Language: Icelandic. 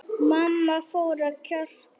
Mamma fór að kjökra.